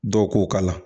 Dɔw k'o k'a la